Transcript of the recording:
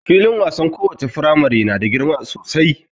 Filin wasan lowace firamamre na da girma sosai.